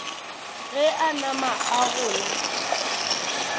ge a nama a gola